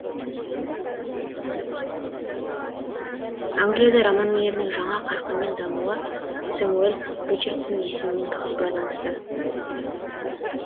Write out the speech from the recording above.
англияда роман өнерінің жаңа қарқынмен дамуы сэмюель ричардсон есімімен тығыз байланысты